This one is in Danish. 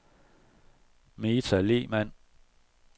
Meta Lehmann